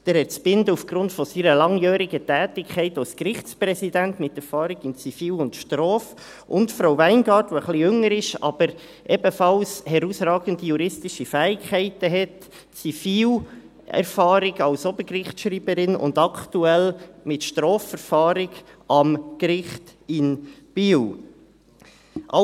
Herr Zbinden aufgrund seiner langjährigen Tätigkeit als Gerichtspräsident, mit Erfahrung im Zivil- und Strafrecht; und Frau Weingart, die etwas jünger ist, aber ebenfalls herausragende juristische Fähigkeiten hat, hat Zivilerfahrung als Obergerichtsschreiberin und aktuell mit Strafverfahren am Gericht in Biel zu tun.